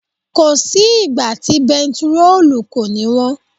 Kò sí ìgbà tí bẹntiróòlù kò ní wọ́n.